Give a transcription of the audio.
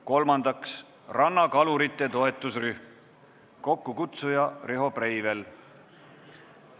Kolmandaks, rannakalurite toetusrühm, kokkukutsuja on Riho Breivel.